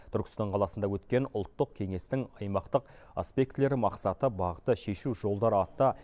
түркістан қаласында өткен ұлттық кеңестің аймақтық аспектілері мақсаты бағыты шешу жолдары атты